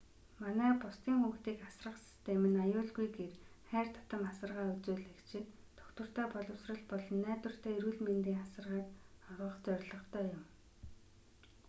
манай бусдын хүүхдийг асрах систем нь аюулгүй гэр хайр татам асаргаа үзүүлэгчид тогтвортой боловсрол болон найдвартай эрүүл мэндийн асаргааг олгох зорилготой юм